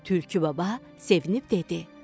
Tülkü baba sevinib dedi: